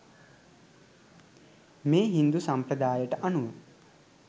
මේ හින්දු සම්ප්‍රදායට අනුව